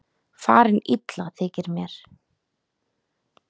Farin illa þykir mér.